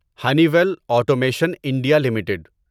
honey well automation India limited